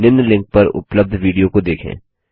निम्न लिंक पर उपलब्ध विडियो को देखें